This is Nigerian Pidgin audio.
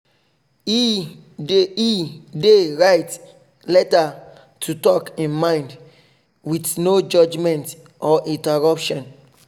he he dey write letter to talk e mind with no judgement or interruption